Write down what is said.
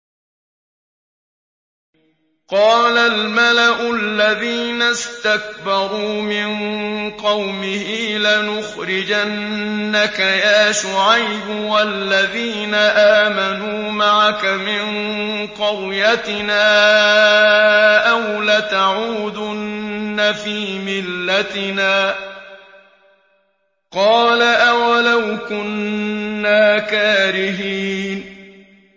۞ قَالَ الْمَلَأُ الَّذِينَ اسْتَكْبَرُوا مِن قَوْمِهِ لَنُخْرِجَنَّكَ يَا شُعَيْبُ وَالَّذِينَ آمَنُوا مَعَكَ مِن قَرْيَتِنَا أَوْ لَتَعُودُنَّ فِي مِلَّتِنَا ۚ قَالَ أَوَلَوْ كُنَّا كَارِهِينَ